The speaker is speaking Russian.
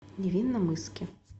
невинномысске